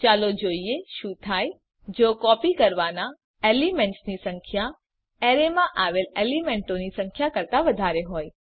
ચાલો જોઈએ શું થાય જો કોપી કરવાના એલીમેન્ટ્સની સંખ્યા અરેમાં આવેલ એલીમેન્તોની સંખ્યા કરતા વધારે હોય